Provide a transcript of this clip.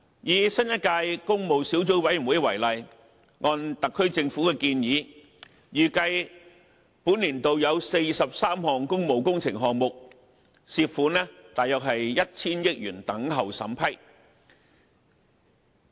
以新一屆工務小組委員會為例，按特區政府的建議，預計本年度有43項工務工程項目，涉款約 1,000 億元等候審批。